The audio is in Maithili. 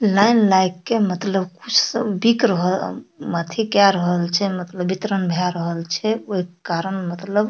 लाइन लाएग के मतलब सब बिक रह उम्म अथी केए रहल छै मतलब वितरण भेए रहल छै ओय के कारण मतलब --